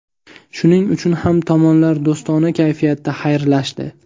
Shuning uchun ham tomonlar do‘stona kayfiyatda xayrlashdi.